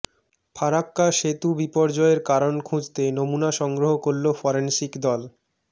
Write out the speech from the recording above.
ফরাক্কা সেতু বিপর্যয়ের কারণ খুঁজতে নমুনা সংগ্রহ করল ফরেন্সিক দল